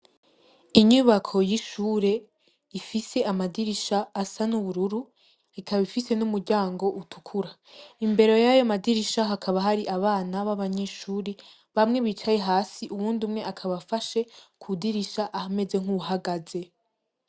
Inyubako y'ishure, ifise amadirisha asa n'ubururu, ikaba ifise n'umuryango utukura. Imbere y'ayo madirisha hakaba hari abana b'abanyeshuri, bamwe bicaye hasi uwundi umwe akaba afashe ku dirisha ameze nk'uwuhagaze.